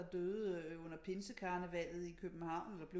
Der døde under pinsekarnevallet i København eller blev